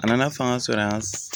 A nana fanga sɔrɔ yan